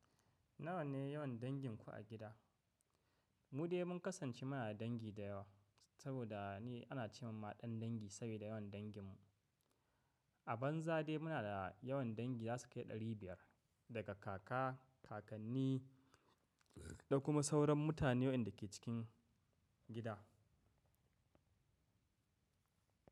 Nawa ne yawan danginku a gida? Mu dai mun kasance muna da dangi da yawa saboda ne ana ce ma ɗan dangi saboda yawan dangin mu. A banza dai muna da yawan dangi za su kai ɗari biyar, daga kaka, kakanni da kuma sauran mutane waɗanda ke cikin gida.